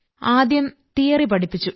ആദ്യം തിയറി പഠിപ്പിച്ചു